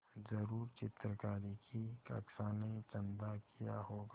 ज़रूर चित्रकारी की कक्षा ने चंदा किया होगा